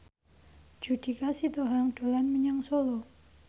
Judika Sitohang dolan menyang Solo